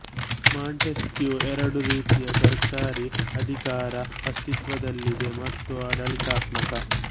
Montesquieu ಎರಡು ರೀತಿಯ ಸರ್ಕಾರಿ ಅಧಿಕಾರ ಅಸ್ತಿತ್ವದಲ್ಲಿದೆ ಮತ್ತು ಆಡಳಿತಾತ್ಮಕ